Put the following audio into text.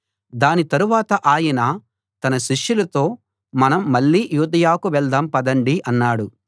దాని తరువాత ఆయన తన శిష్యులతో మనం మళ్ళీ యూదయకు వెళ్దాం పదండి అన్నాడు